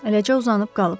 Eləcə uzanıb qalıb.